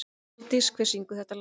Koldís, hver syngur þetta lag?